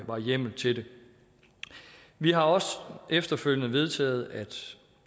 var hjemmel til det vi har også efterfølgende vedtaget at